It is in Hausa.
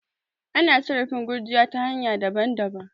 ana satraf gurjiya ta hanya daban-dabam